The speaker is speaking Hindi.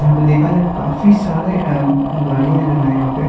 यहाँ पे देखा जाये काफी सारे अ गाड़ियाँ जो हैं यहाँ पे।